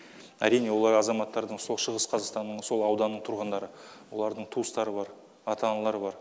әрине олар азаматтардың сол шығыс қазақстанның сол ауданның тұрғындары олардың туыстары бар ата аналары бар